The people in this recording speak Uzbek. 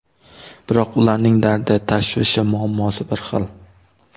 Biroq ularning dardi, tashvishi, muammosi bir xil.